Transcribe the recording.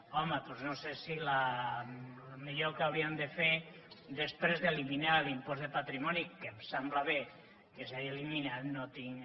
home doncs no sé si el millor que hauríem de fer després d’eliminar l’impost de patrimoni que em sembla bé que s’hagi eliminat no tinc